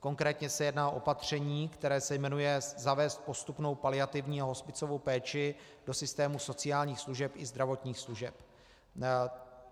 Konkrétně se jedná o opatření, které se jmenuje "zavést postupnou paliativní a hospicovou péči do systému sociálních služeb i zdravotních služeb".